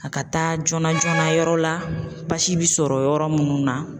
A ka taa joona joonana yɔrɔ la basi bɛ sɔrɔ yɔrɔ munnu na.